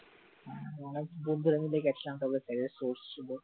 অনেক বন্ধুরা মিলে গেছিলাম, তবে ভাইয়া source ছিল